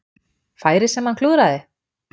Færið sem hann klúðraði?